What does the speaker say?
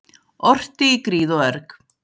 Orti í gríð og erg.